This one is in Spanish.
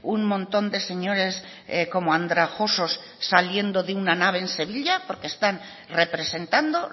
un montón de señores como andrajosos saliendo de una nave en sevilla porque están representando